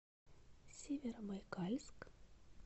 северобайкальск